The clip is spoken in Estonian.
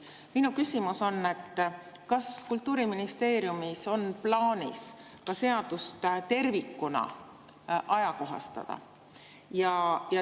Minu küsimus on, kas Kultuuriministeeriumis on plaanis seadust ka tervikuna ajakohastada.